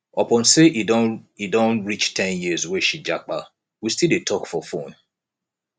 upon sey e don e don reach ten years wey she japa we still dey talk for fone